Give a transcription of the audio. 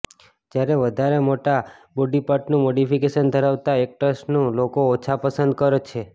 જ્યારે વધારે મોટા બોડી પાર્ટનું મોડિફિકેશન ધરાવતા એક્ટર્સને લોકો ઓછા પસંદ કર છે